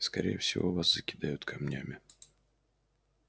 скорее всего вас закидают камнями